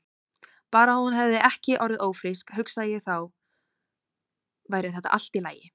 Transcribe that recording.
Bara að hún hefði ekki orðið ófrísk, hugsaði ég, þá væri þetta allt í lagi.